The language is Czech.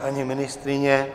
Paní ministryně?